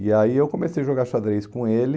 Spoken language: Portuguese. E aí eu comecei a jogar xadrez com ele.